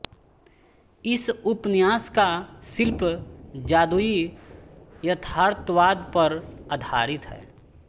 इस उपन्यास का शिल्प जादुई यथार्थवाद पर आधारित है